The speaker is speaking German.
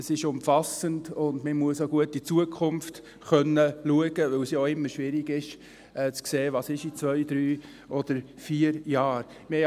Es ist umfassend und man muss gut in die Zukunft schauen können, weil es immer schwierig ist, zu sehen, was in zwei, drei oder vier Jahren sein wird.